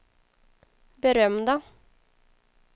berömda